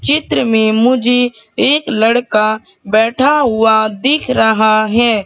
चित्र में मुझे एक लड़का बैठा हुआ दिख रहा है।